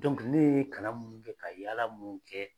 ne ye kalan mun kɛ ka yaala mun kɛ